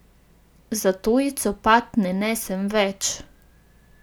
Zato ji copat ne nesem več.